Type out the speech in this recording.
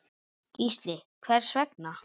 Gísli: Hvers vegna?